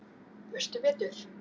Veistu betur?